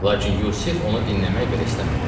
Lakin Yusif onu dinləmək belə istəmədi.